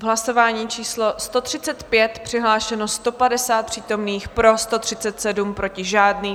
V hlasování číslo 135 přihlášeno 150 přítomných, pro 137, proti žádný.